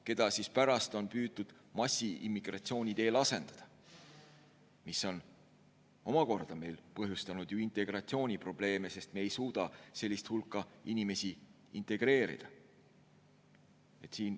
Neid on pärast püütud massiimmigratsiooni teel asendada, mis on omakorda põhjustanud ju integratsiooniprobleeme, sest me ei suuda sellist hulka inimesi integreerida.